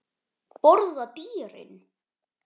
Borða dýrin?